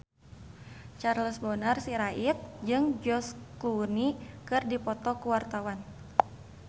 Charles Bonar Sirait jeung George Clooney keur dipoto ku wartawan